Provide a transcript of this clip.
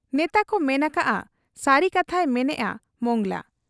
ᱱᱮᱛᱟᱠᱚ ᱢᱮᱱ ᱟᱠᱟᱜ ᱟ ᱥᱟᱹᱨᱤ ᱠᱟᱛᱷᱟᱭ ᱢᱮᱱᱮᱜ ᱟ ᱢᱚᱸᱜᱽᱞᱟ ᱾